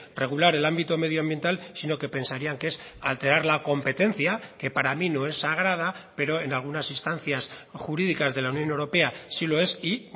regular el ámbito medioambiental sino que pensarían que es alterar la competencia que para mí no es sagrada pero en algunas instancias jurídicas de la unión europea sí lo es y